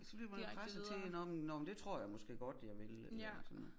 Så bliver man presset til nå men nå men det tror jeg msåke godt jeg vil eller sådan noget